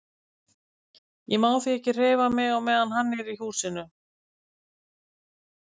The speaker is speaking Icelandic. Ég má því ekki hreyfa mig á meðan hann er í húsinu.